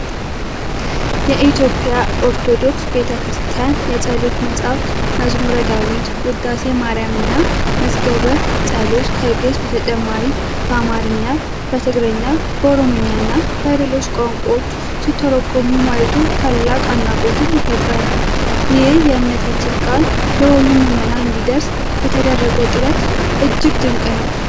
የኢትዮጵያ ኦርቶዶክስ ቤተ ክርስቲያን የጸሎት መጻሕፍት መዝሙረ ዳዊት፣ ውዳሴ ማርያምና መዝገበ ጸሎት ከግእዝ በተጨማሪ በአማርኛ፣ በትግርኛ፣ በኦሮምኛና በሌሎች ቋንቋዎች ሲተረጎሙ ማየቱ ታላቅ አድናቆትን ይፈጥራል። ይህ የእምነታችን ቃል ለሁሉም ምዕመን እንዲደርስ የተደረገው ጥረት እጅግ ድንቅ ነው።